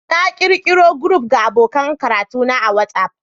Na ƙirƙiro group ga abokan karatuna a WhatsApp